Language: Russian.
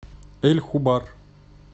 эль хубар